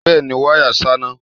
Bẹ́è ni, wáyà ṣáná.